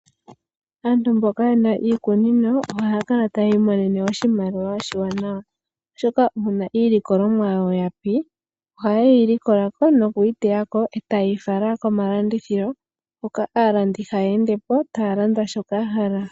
Aantu mboka yena iikunino ohaya kala tayi imonene oshimaliwa molwaashoka uuna iilikolomwa yawo yapi, ohayeyi likolako etayeyi fala komalandithilo mpoka aalandi hayeendepo nokulanda.